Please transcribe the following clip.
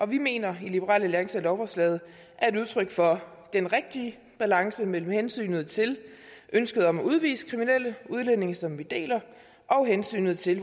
vi mener i liberal alliance at lovforslaget er et udtryk for den rigtige balance mellem hensynet til ønsket om at udvise kriminelle udlændinge som vi deler og hensynet til